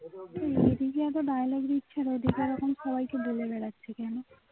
এদিকে এত dialogue দিচ্ছে আবার ওদিকে সবাই কে বলে বেড়াচ্ছে কেনো